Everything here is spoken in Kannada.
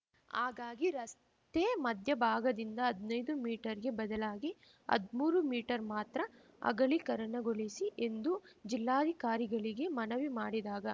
ಹಾಗಾಗಿ ರಸ್ತೆ ಮಧ್ಯಭಾಗದಿಂದ ಹದ್ನೈದು ಮೀಟರ್‌ಗೆ ಬದಲಾಗಿ ಹದ್ಮೂರು ಮೀಟರ್ ಮಾತ್ರ ಅಗಲೀಕರಣಗೊಳಿಸಿ ಎಂದು ಜಿಲ್ಲಾಧಿಕಾರಿಗಳಿಗೆ ಮನವಿ ಮಾಡಿದಾಗ